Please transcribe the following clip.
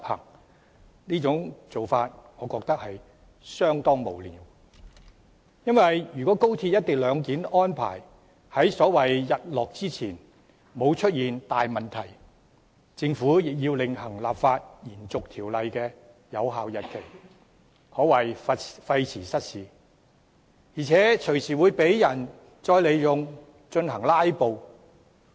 我認為這種做法相當無聊，因為即使高鐵的"一地兩檢"安排在所謂"日落"之前沒有出現大問題，政府亦要另行立法延續條例的有效日期，可謂費時失事，而且隨時會再被人用以進行"拉布"。